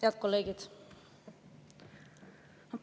Head kolleegid!